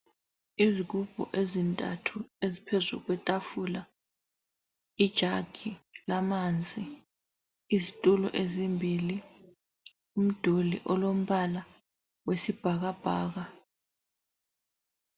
Izigubhu ezintathu eziphezu kwetafula, ijagi lamanzi, izitulo ezimbili, umduli olombala wesibhakabhaka.